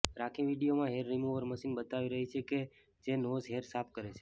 રાખી વીડિયોમાં hair remover machine બતાવી રહી છે કે જે નોઝ હેર સાફ કરે છે